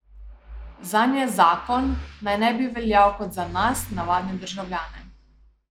Zanje zakon naj ne bi veljal kot za nas, navadne državljane.